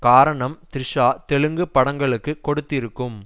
காரணம் த்ரிஷா தெலுங்கு படங்களுக்கு கொடுத்திருக்கும்